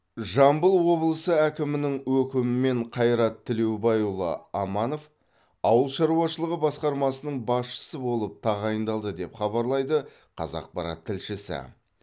жамбыл облысы әкімінің өкімімен қайрат тілеубайұлы аманов ауыл шаруашылығы басқармасының басшысы болып тағайындалды деп хабарлайды қазақпарат тілшісі